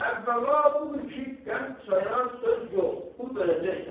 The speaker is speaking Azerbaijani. Əvvəla budur ki, qənd-çaya söz yox, pul verəcəksən.